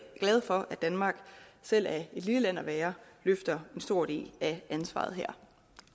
danmark selv af et lille land at være løfter en stor del af ansvaret her